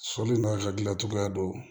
Sɔli n'a hakilina cogoya do